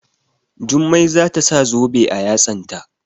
Jummai za ta sa zobe a yatsanta.